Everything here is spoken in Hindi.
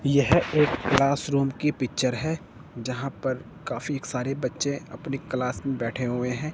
यह एक क्लास रूम की पिक्चर है जहां पर काफी सारे बच्चे अपनी क्लास में बैठे हुए है।